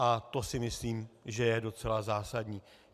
A to si myslím, že je docela zásadní.